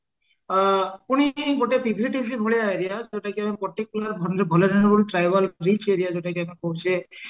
ଆଁ ପୁଣି ଗୋଟେ ଭଳି area trivial area ଯୋଉଟା କି ଆମେ କହୁଚେ